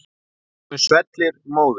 Honum svellur móður.